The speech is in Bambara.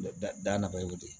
Da da naba y'o de ye